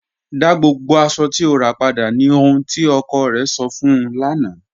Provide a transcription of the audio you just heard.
Dá gbogbo aṣọ̀ tí o rà padà, ní ọhun tí ọkọ̀ rẹ̀ sọ̀ fun ụ lána